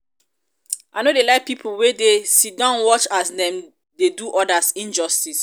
i no dey like pipo wey dey sidon watch as dem dey do others injustice.